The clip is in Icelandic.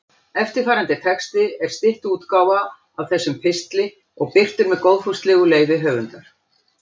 Eftirfarandi texti er stytt útgáfa af þessum pistli og birtur með góðfúslegu leyfi höfundar.